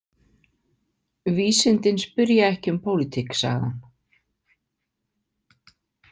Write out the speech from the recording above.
Vísindin spyrja ekki um pólitík, sagði hann.